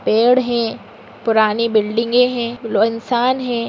पेड़ हैं। पुरानी बिल्डिंगे हैं। लो इंसान हैं।